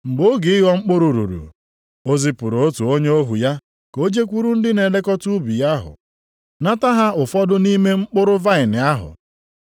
Mgbe oge ịghọ mkpụrụ ruru, o zipụrụ otu onye ohu ya ka o jekwuru ndị na-elekọta ubi ahụ, nata ha ụfọdụ nʼime mkpụrụ vaịnị ahụ.